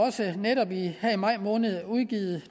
netop i maj måned udgivet